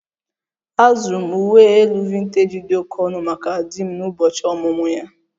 Azụrụ m uwe elu vintej dị oke ọnụ maka di m n'ụbọchị ọmụmụ ya